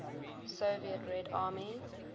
soviet red army